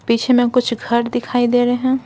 पीछे में कुछ घर दिखाई दे रहे हैं।